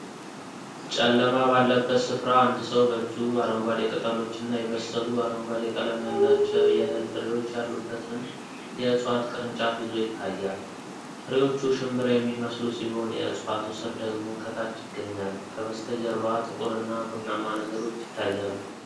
ጨለማ ባለበት ስፍራ አንድ ሰው በእጁ አረንጓዴ ቅጠሎችና የበሰሉ፣ አረንጓዴ ቀለም ያላቸው የእህል ፍሬዎች ያሉበትን የዕፅዋት ቅርንጫፍ ይዞ ይታያል። ፍሬዎቹ ሽንብራየሚመስሉ ሲሆን፣ የዕፅዋቱ ሥር ደግሞ ከታች ይገኛል፤ ከበስተጀርባ ጥቁር እና ቡናማ ነገሮች ይታያሉ።